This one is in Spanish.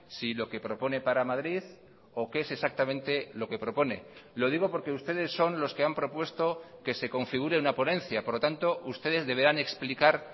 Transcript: si lo que propone para madrid o qué es exactamente lo que propone lo digo porque ustedes son los que han propuesto que se configure una ponencia por lo tanto ustedes deberán explicar